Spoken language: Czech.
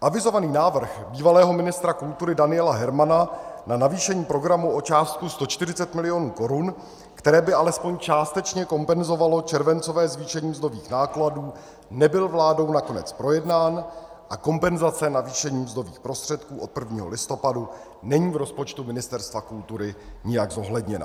Avizovaný návrh bývalého ministra kultury Daniela Hermana na navýšení programu o částku 140 mil. korun, které by alespoň částečně kompenzovalo červencové zvýšení mzdových nákladů, nebyl vládou nakonec projednán a kompenzace navýšení mzdových prostředků od 1. listopadu není v rozpočtu Ministerstva kultury nijak zohledněna.